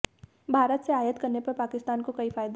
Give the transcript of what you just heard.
भारत से आयात करने पर पाकिस्तान को कई फायदे